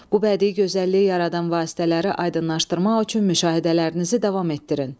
Bu bədii gözəlliyi yaradan vasitələri aydınlaşdırmaq üçün müşahidələrinizi davam etdirin.